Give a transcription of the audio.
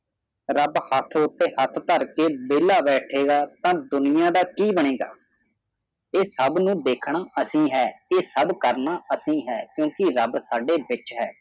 rub ਹੱਥ ਉਤੇ ਹਾਥ ਥਾਰ ਕੇ ਬੇਲਾ ਬੈਠਾਗਾ ਤਾ ਦੁਨੀਆ ਕਾ ਕੀ ਬਣਗਾ ਇਹ ਸਾਬ ਨੂੰ ਦੇਖਣਾ ਅਸੀਂ ਇਹ ਸਾਬ ਕਰਨਾ ਅਸੀਂ ਹੈ ਕਿਉਂਕਿ ਰੱਬ ਸਾਡੇ ਵਿਚ ਹੈ